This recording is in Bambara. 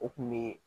O kun bɛ